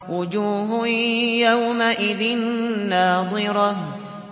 وُجُوهٌ يَوْمَئِذٍ نَّاضِرَةٌ